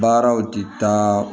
Baaraw ti taa